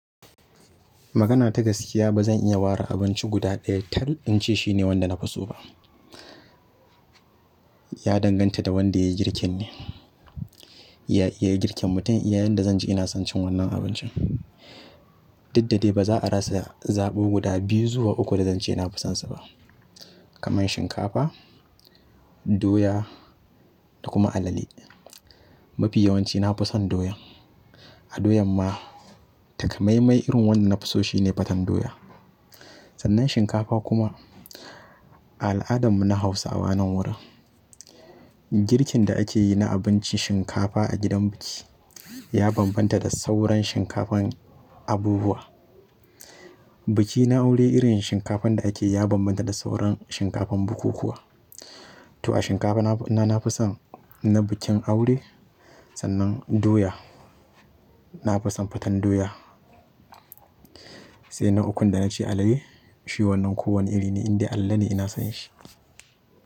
Magana ta gaskiya ba zan iya ware abinci guda ɗaya tal in ce shine wanda na fi so ba. Ya danganta da wanda ya yi girkin ne, ya iya girkin mutun. Iya yanda zan ji ina son cin wannan abincin. Duk da dai ba za a rasa zaɓo guda biyu zuwa uku da zan ce na fi sonsa ba, kamar shinkafa, doya da kuma alale. Mafi yawanci na fi son ɗoyan. A doyan ma takamaimai irin wanda na fi so shine faten doya. Sannan shinkafa kuma a al'adan mu na Hausawa nan wurin, girkin da ake yi na abincin shinkafa a gidan biki ya bambanta da sauran shinkafan abubuwa. Biki na aure irin shinkafan da ake yi ya bambanta da sauran shinkafan bukukuwa. To a shinkafa na, na fi son na bikin aure sannan doya na fi son fatan doya. Sai na ukun da na ce alale shi wannan kowane iri ne indai alalene ina son shi.